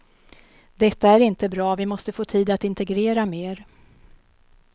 Detta är inte bra, vi måste få tid att integrera mer.